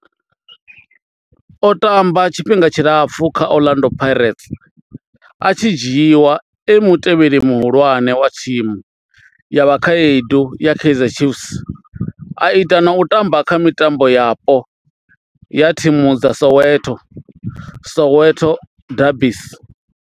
O tamba tshifhinga tshilapfhu kha Orlando Pirates, a tshi dzhiiwa e mutevheli muhulwane wa thimu ya vhakhaedu ya Kaizer Chiefs, a ita na u tamba kha mitambo yapo ya thimu dza Soweto Soweto derbies.